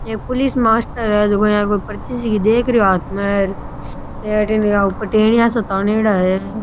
एक police master है जो की यहाँ पे पर्ची देख रेहो तनेडा है।